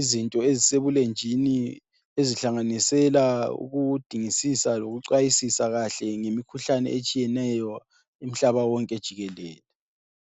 izinto ezisebulenjini ezihlanganisela ukudingisisa lokucwayisisa kahle ngemikhuhlane etshiyeneyo umhlaba wonke jikelele.